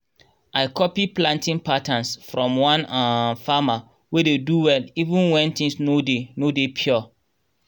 i copy planting patterns from one um farmer wey dey do well even wen tins no dey no dey pure